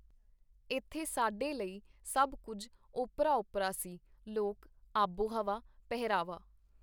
ਏਥੇ ਸਾਡੇ ਲਈ ਸਭ ਕੁੱਝ ਓਪਰਾ-ਓਪਰਾ ਸੀ - ਲੋਕ, ਆਬੋ ਹਵਾ, ਪਹਿਰਾਵਾ.